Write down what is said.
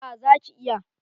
A zaki iya